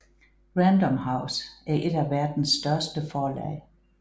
Random House er et af verdens største forlag